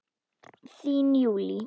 Þín Júlí.